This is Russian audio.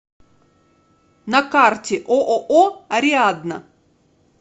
на карте ооо ариадна